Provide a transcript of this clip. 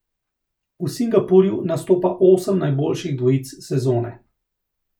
V Singapurju nastopa osem najboljših dvojic sezone.